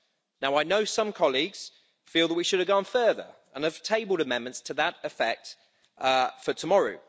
Now I know some colleagues feel that we should have gone further, and I have tabled amendments to that effect for tomorrow.